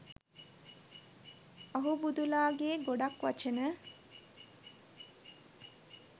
අහුබුදු ලා ගේ ගොඩක් වචන